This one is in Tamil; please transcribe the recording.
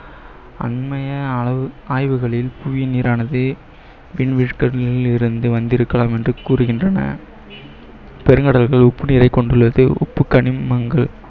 அண்மைய ஆய்வுகளில் புவி நீரானது வந்திருக்கலாம் என்று கூறுகின்றன பெருங்கடல்கள் கொண்டுள்ளது உப்புக்கனிமங்க~